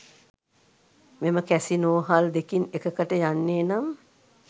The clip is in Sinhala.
මෙම කැසිනෝහල් දෙකින් එකකට යන්නේ නම්